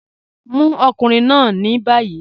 Mu ọkùnrin náà ni bayí.